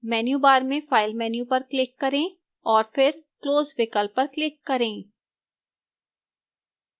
menu bar में file menu पर click करें और फिर close विकल्प पर click करें